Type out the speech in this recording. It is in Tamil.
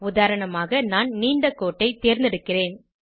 உதாரணமாக நான் நீண்ட கோட்டை தேர்ந்தெடுக்கிறேன்